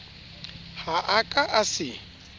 ha a ka a se